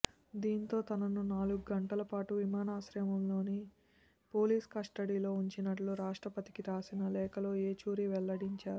దీంతో తనను నాలుగు గంటల పాటు విమానాశ్రయంలోని పోలీసు కస్టడీలో ఉంచినట్లు రాష్ట్రపతికి రాసిన లేఖలో ఏచూరి వెల్లడించారు